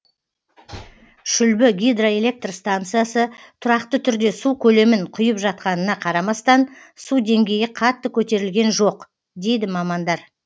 шүлбі гидроэлектр станциясы тұрақты түрде су көлемін құйып жатқанына қарамастан су деңгейі қатты көтерілген жоқ дейді мамандар